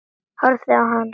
Horfið á hann.